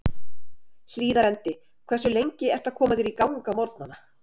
Hlíðarendi Hversu lengi ertu að koma þér í gang á morgnanna?